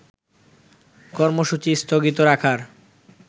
কর্মসূচী স্থগিত রাখার